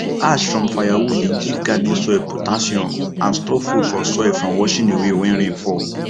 ash from firewood dey give garden soil potassium and stop food for soil from washing away when rain fall